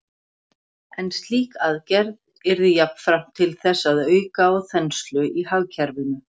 En slík aðgerð yrði jafnframt til þess að auka á þenslu í hagkerfinu.